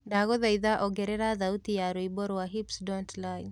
ndagũhaĩtha ongerera thaũtĩ ya rwĩmbo rwa hips don't lie